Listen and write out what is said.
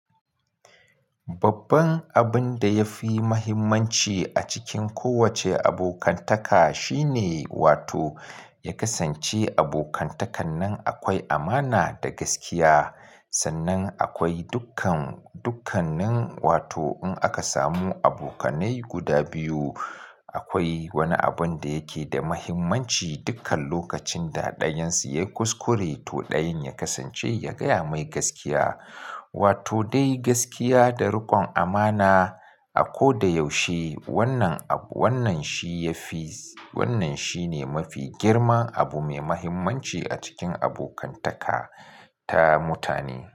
Babban abun da ya fi mahimmanci a cikin kowace abokantaka shine wato ya kasance abokantakan nan akwai amana da gaskiya. Sannan akwai dukkan, dukkanin wato in aka samu abokanai guda biyu, akwai wani abun da yake da mahimmanci dukkan lokacin da ɗayan su ya kuskure to ɗayan ya kasance ya gaya mai gaskiya. Wato dai gaskiya da rikon amana a ko da yaushe wannan abu, wannan shi ya fi, wannan shi ne mafi girman abu mai mahimmanci a cikin abokantaka ta mutane.